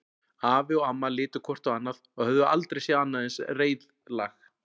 Afi og amma litu hvort á annað og höfðu aldrei séð annað eins reiðlag.